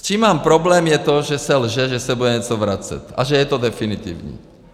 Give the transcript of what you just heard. S čím mám problém, je to, že se lže, že se bude něco vracet a že je to definitivní.